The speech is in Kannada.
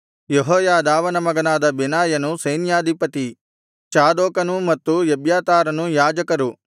ಯೆಹೋಯಾದಾವನ ಮಗನಾದ ಬೆನಾಯನು ಸೈನ್ಯಾಧಿಪತಿ ಚಾದೋಕನೂ ಮತ್ತು ಎಬ್ಯಾತಾರನೂ ಯಾಜಕರು